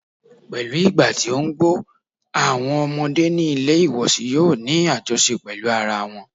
Pẹ̀lú ìgbà tí ó ń gbọ́, àwọn ọmọdé ní ilé ìwòsí yòó ní àjọṣe pẹ́lú ara wọn.